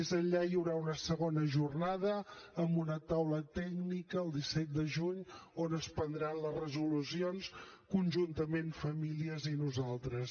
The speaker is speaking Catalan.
més enllà hi haurà una segona jornada amb una taula tècnica el disset de juny on es prendran les resolucions conjuntament famílies i nosaltres